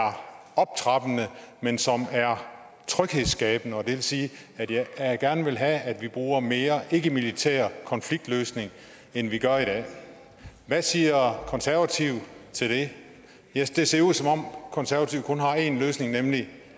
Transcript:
optrappende men som er tryghedsskabende og det vil sige at jeg gerne vil have at vi bruger mere ikkemilitær konfliktløsning end vi gør i dag hvad siger konservative til det det ser ud som om konservative kun har en løsning nemlig